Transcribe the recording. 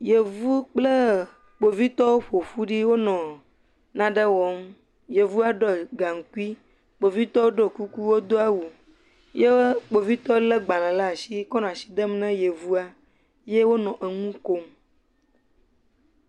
Yevu kple kpovitɔwo ƒoƒu ɖi wonɔ nane wɔm. Yevua ɖɔ gaŋkui. Kpovitɔ ɖɔ kuku wodo awu ye kpovitɔ le gbale ɖe asi kɔ nɔ asi dem na yevua ye wonɔ enu kom.